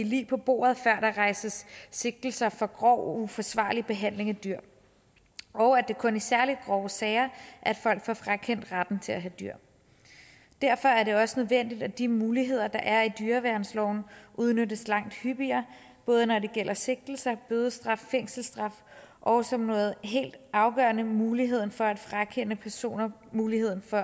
lig på bordet før der rejses sigtelser for grov og uforsvarlig behandling af dyr og at det kun er i særlig grove sager at folk får frakendt retten til at have dyr derfor er det også nødvendigt at de muligheder der er i dyreværnsloven udnyttes langt hyppigere både når det gælder sigtelser bødestraf fængselsstraf og som noget helt afgørende muligheden for at frakende personer muligheden for